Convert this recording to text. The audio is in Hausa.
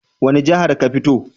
Wani jihar ka fito?